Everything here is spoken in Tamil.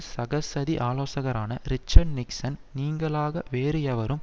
சகசதி ஆலோசகரான ரிச்சர்ட் நிக்சன் நீங்கலாக வேறு எவரும்